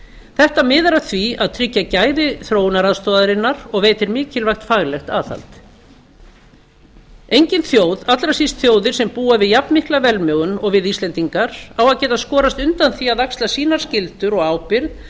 þetta miðar að því að tryggja gæði þróunaraðstoðarinnar og veitir mikilvægt faglegt aðhald engin þjóð allra síst þjóðir sem búa við jafnmikla velmegun og við íslendingar á að geta skorist undan því að axla sínar skyldur og ábyrgð